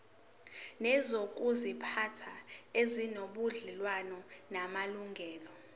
nezokuziphatha ezinobudlelwano namalungelo